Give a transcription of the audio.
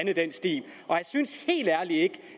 i den stil og jeg synes helt ærligt ikke